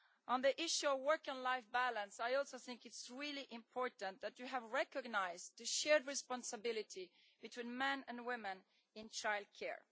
On the issue of work and life balance, I also think that it is really important that you have recognised the shared responsibility between men and women in childcare.